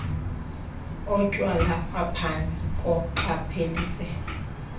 otywala aphantsi koqaphelisiso